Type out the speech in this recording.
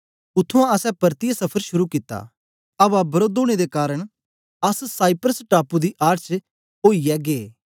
उत्त्थुआं असैं पर्तियै सफर शुरू कित्ता अवा वरोध ओनें दे कारन अस साइप्रस टापू दी आड़ च ओईयै गै